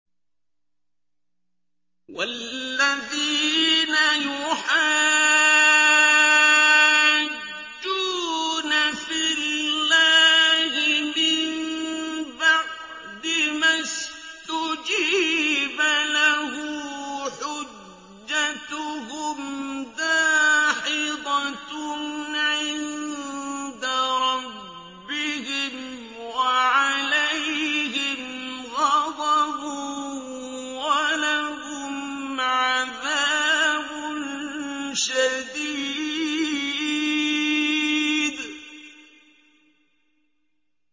وَالَّذِينَ يُحَاجُّونَ فِي اللَّهِ مِن بَعْدِ مَا اسْتُجِيبَ لَهُ حُجَّتُهُمْ دَاحِضَةٌ عِندَ رَبِّهِمْ وَعَلَيْهِمْ غَضَبٌ وَلَهُمْ عَذَابٌ شَدِيدٌ